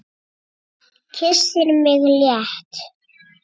Kyssir mig létt.